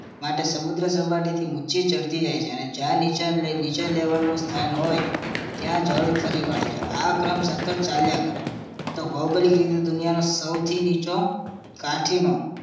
માટે સમુદ્ર સપાટીથી ઉચી ચડતી જાય છે અને જ્યાં નીચે લે નીચે level નું સ્થાન હોય ત્યાં જળ ફરી વળે છે આ ક્રમ સતત ચાલ્યા કરે તો ભૌગોલિક રીતે દુનિયાનો સૌથી નીચો કાઠીનો